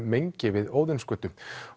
mengi við Óðinsgötu